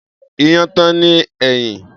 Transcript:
Iyán ta ni èyí?